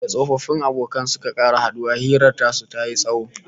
Da tsofaffin abokan suka sake haduwa, hirar su tayi tsawo